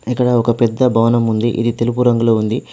ఇక్కడ ఒక పెద్ద భవనం ఉంది ఇది తెలుపు రంగులో ఉంది.